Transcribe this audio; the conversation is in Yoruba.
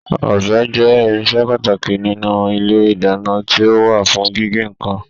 Ọbẹ jẹ irinṣẹ pàtàkì nínú ilé ìdáná, ti o wá fún gígé nnkan.